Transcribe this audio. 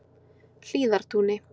Hlíðartúni